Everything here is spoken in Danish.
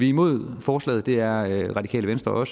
imod forslaget det er radikale venstre og